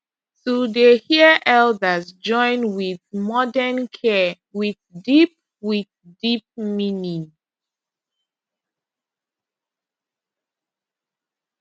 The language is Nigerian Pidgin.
to dey hear elders join with modern care with deep with deep meaning